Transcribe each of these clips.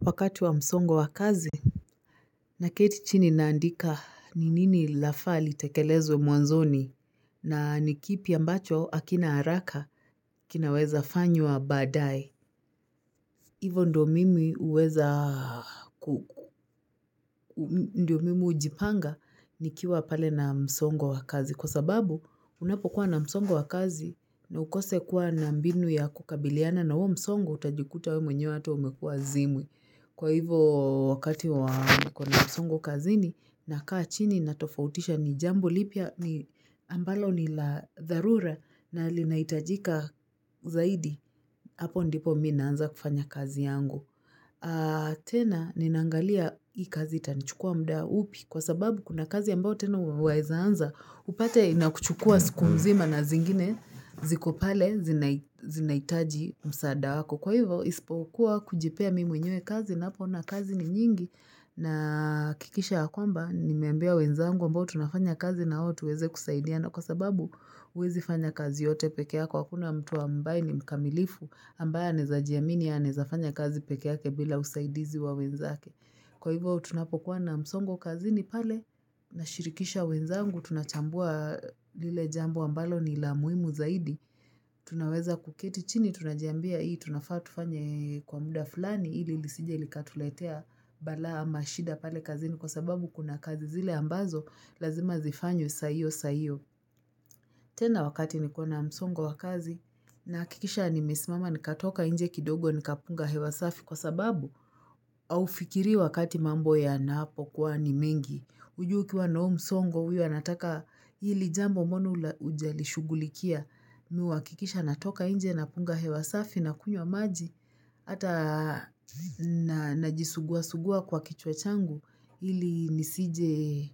Wakati wa msongo wakazi, na keti chini naandika ni nini lafaa litekelezwe mwanzoni na nikipi ambacho hakina haraka kinaweza fanywa baadae. Hivo ndo mimi huweza, ndo mimi hujipanga nikiwa pale na msongo wakazi kwa sababu unapo kuwa na msongo wakazi na ukose kuwa na mbinu ya kukabiliana na huo msongo utajikuta wewe mwenye hata umekuwa zimwi. Kwa hivo wakati wa nikona msongo kazini nakaa chini natofautisha ni jambo lipi ambalo ni la dharura na linahitajika zaidi. Hapo ndipo mii naanza kufanya kazi yangu. Tena ni naangalia hii kazi itanichukua mda upi kwa sababu kuna kazi ambayo tena waweza anza. Upate inakuchukua siku mzima na zingine zikopale zinahitaji msaada wako. Kwa hivyo, isipokuwa kujipea mimi mwenye kazi napoona kazi ni nyingi na kikisha ya kwamba, nimeambia wenzangu ambao tunafanya kazi na o tuweze kusaidia na kwa sababu huwezi fanya kazi yote pekee yako hakuna mtu ambaye ni mkamilifu ambaye anawezajiamini anaezafanya kazi pekee yake bila usaidizi wa wenzake. Kwa hivo tunapokuwa na msongo kazini pale, na shirikisha wenzangu, tunachambua lile jambo ambalo ni la muhimu zaidi. Tunaweza kuketi chini, tunajiambia hii, tunafaa tufanye kwa muda fulani, ili lisije likatuletea balaa ama shida pale kazini kwa sababu kuna kazi zile ambazo, lazima zifanyanywe saa hio saa hio. Tena wakati nikona msongo wakazi, nahakikisha nimesimama nikatoka inje kidogo nikapunga hewasafi kwa sababu. Haufikiri wakati mambo yana po kuwa ni mengi hujui ukiwa na huu msongo huyu anataka hili jambo mbona hujali shughulikia mii huakikisha natoka inje na punga hewasafi na kunywa maji ata najisugua sugua kwa kichwa changu ili nisije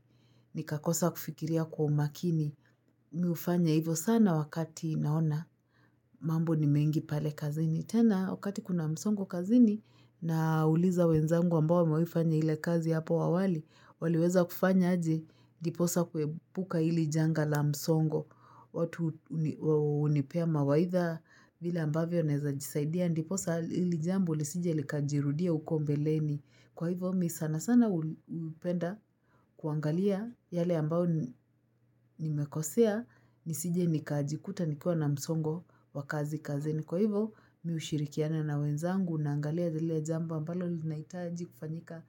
nikakosa kufikiria kwa umakini mii hufanya hivo sana wakati naona mambo ni mengi pale kazini ni tena, wakati kuna msongo kazini na uliza wenzangu ambao wamewahifanya ile kazi hapo awali, waliweza kufanya aje ndiposa kuepuka hili janga la msongo. Watu hunipea mawaidha vile ambavyo naeza jisaidia, ndiposa hili jambo lisije likajirudia huko mbeleni. Kwa hivo, mii sana sana hupenda kuangalia yale ambayo nimekosea, nisije nikajikuta nikuwa na msongo wakazi kazini. Kwa hivo, mii hushirikiana na wenzangu, naangalia lile jambo ambalo linahitaji kufanyika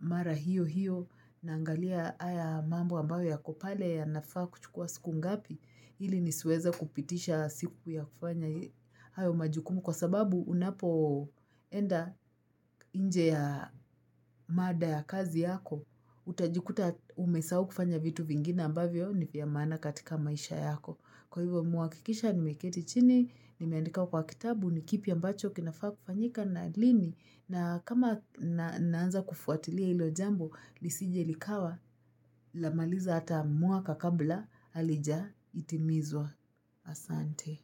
mara hiyo hiyo, naangalia haya mambo ambayo ya ko pale ya nafaa kuchukua siku ngapi, ili nisiweze kupitisha siku ya kufanya hayo majukumu kwa sababu unapo enda inje ya mada ya kazi yako, utajikuta umesahau kufanya vitu vingine ambavyo ni vya maana katika maisha yako. Kwa hivo mii huhakikisha ni meketi chini, ni meandika kwa kitabu ni kipi ambacho kinafaa kufanyika na lini na kama naanza kufuatilia hilo jambo, lisi jelikawa, lamaliza ata mwaka kabla halija itimizwa asante.